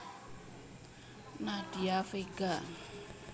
Nadia Vega